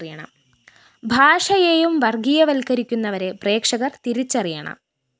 ഭാഷയെയും വര്‍ഗ്ഗീയവത്കരിക്കുന്നവരെ പ്രേക്ഷകര്‍ തിരിച്ചറിയണം